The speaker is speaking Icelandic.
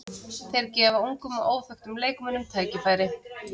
Þeir gefa ungum og óþekktum leikmönnum tækifæri.